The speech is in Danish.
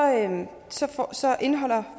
så indeholder